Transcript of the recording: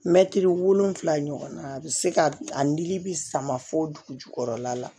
Mɛtiri wolonwula ɲɔgɔn na a bɛ se ka a nili bɛ sama fo dugu jukɔrɔla la